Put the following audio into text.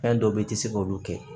Fɛn dɔ be yen i ti se k'olu kɛ